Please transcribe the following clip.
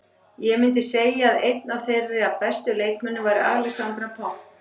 Ég myndi segja að einn af þeirra bestu leikmönnum væri Alexandra Popp.